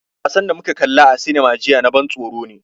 Wasan da muka kalla a cinema jiya na ban tsoro ne.